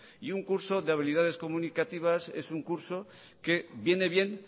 y un curso de habilidades comunicativas es un curso que viene bien